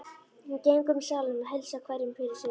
Hún gengur um salinn og heilsar hverjum fyrir sig.